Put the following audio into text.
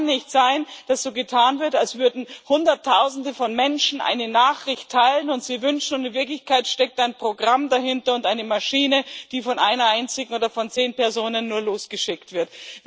Es kann nicht sein, dass so getan wird, als würden Hunderttausende von Menschen eine Nachricht teilen und sie wünschen, und in Wirklichkeit steckt ein Programm dahinter, eine Maschine, die nur von einer einzigen oder von zehn Personen losgeschickt wird.